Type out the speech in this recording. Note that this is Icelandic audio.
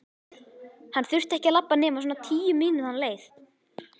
Hann þurfti ekki að labba nema svona tíu mínútna leið.